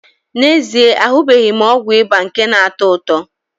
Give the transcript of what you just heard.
N'ezie, ahụbeghị m ọgwụ ịba nke na-atọ ụtọ.